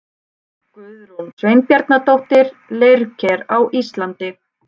Guðrún Sveinbjarnardóttir, Leirker á Íslandi.